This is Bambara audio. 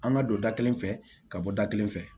An ka don da kelen fɛ ka bɔ da kelen fɛ